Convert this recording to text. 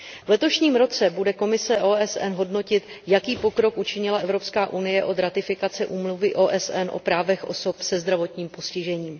V letošním roce bude komise OSN hodnotit, jaký pokrok učinila Evropská unie od ratifikace Úmluvy OSN o právech osob se zdravotním postižením.